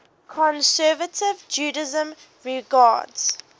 conservative judaism regards